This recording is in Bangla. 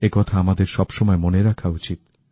একথা আমাদের সবসময় মনে রাখা উচিত